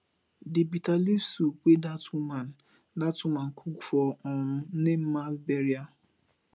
the bitter leaf soup wey dat woman dat woman cook for um nne ma burial